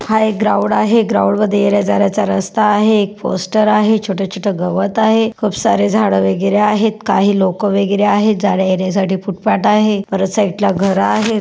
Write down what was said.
हा एक ग्राऊंड आहे ग्राऊंड मध्ये येण्या-जाण्याचा रस्ता आहे एक पोस्टर आहे छोटे-छोटे गवत आहे खूप सार झाड वगेरे आहेत काही लोक वगेरे आहेत जाण्या येण्यासाठी फुटपाथ आहेत परत साइट ला घर आहे.